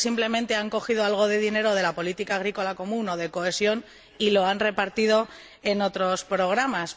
Ustedes simplemente han cogido algo de dinero de la política agrícola común o de la de cohesión y lo han repartido en otros programas